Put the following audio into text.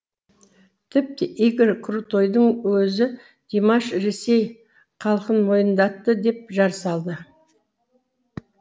тіпті игорь крутойдың өзі димаш ресей халқын мойындатты деп жар салды